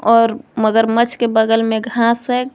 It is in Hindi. और मगरमच्छ के बगल में घास।